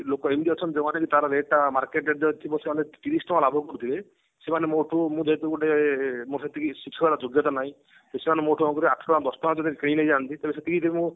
ଲୋକ ଏମତି ଅଛନ୍ତି ଯୋଉ ମାନେ ତାର rate ଟା market ର ଯଦି ଥିବ ସେମାନେ ତିରିଶି ଟଙ୍କା ଲାଭ କରୁଥିବେ ସେମାନେ ମୋଠୁ ମୁଁ ଯେହେତୁ ଗୋଟେ ମୋର ସେତିକି ସ୍ବଚ୍ଛଳ ଯୋଗ୍ୟତା ନାଇଁ ସେମାନେ କଣ କରିବେ ମୋ ଠୁ ଆଠ ଟଙ୍କା ଦଶ ଟଙ୍କା ରେ ଯଦି କିଣି ନେଇ ଯାନ୍ତି ତ ସେତିକି ରେ ମୁଁ